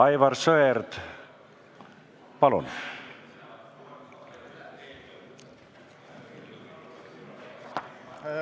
Aivar Sõerd, palun!